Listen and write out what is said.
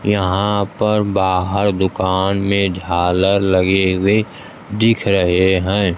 यहां पर बाहर दुकान में झालर लगे हुए दिख रहे हैं।